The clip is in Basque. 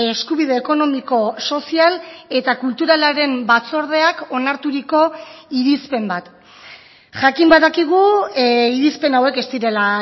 eskubide ekonomiko sozial eta kulturalaren batzordeak onarturiko irizpen bat jakin badakigu irizpen hauek ez direla